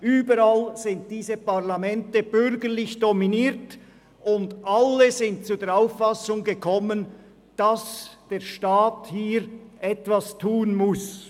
Überall sind diese Parlamente bürgerlich dominiert, und alle kamen sie zur Auffassung, dass der Staat etwas tun muss.